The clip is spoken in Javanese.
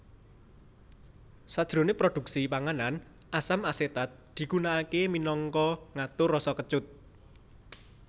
Sajroné produksi panganan asam asetat digunakaké minangka ngatur rasa kecut